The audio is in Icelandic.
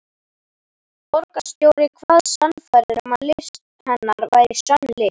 Borgarstjóri kvaðst sannfærður um að list hennar væri sönn list.